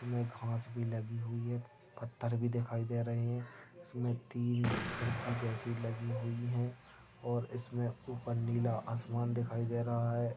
इसमे घास भी लागी हुई है पत्थर भी दिखाई दे रहे है इसमे तीन खड़की जैसी लगी हुई है और इसमे ऊपर नीला आसमान दिखाई दे रहा है।